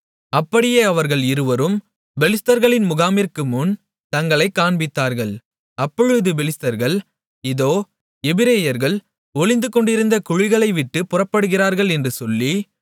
அப்படியே அவர்கள் இருவரும் பெலிஸ்தர்களின் முகாமிற்குமுன் தங்களைக் காண்பித்தார்கள் அப்பொழுது பெலிஸ்தர்கள் இதோ எபிரெயர்கள் ஒளிந்துகொண்டிருந்த குழிகளைவிட்டுப் புறப்படுகிறார்கள் என்று சொல்லி